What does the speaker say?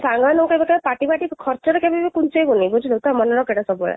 ସାଙ୍ଗ ମାନଙ୍କ ପାଇଁ ଦରକାର party ଖର୍ଚ୍ଚ କେଭେବି ଲୁଚେଇବୁନି ବୁଝିଲୁ ତ ମାନେ ରଖ ଏଇଟା ସବୁ ବେଳେ